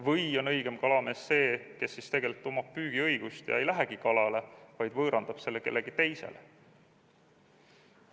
Või on õigem kalamees see, kes tegelikult omab püügiõigust ja ei lähegi kalale, vaid võõrandab selle kellelegi teisele?